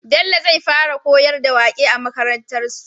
Bello zai fara koyar da waƙe a makarantar su